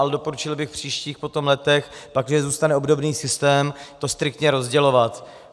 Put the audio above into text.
Ale doporučil bych v příštích letech, pakliže zůstane obdobný systém, to striktně rozdělovat.